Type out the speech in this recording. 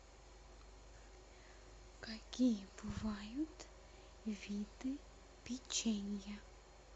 какие бывают виды печенья